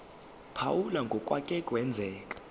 phawula ngokwake kwenzeka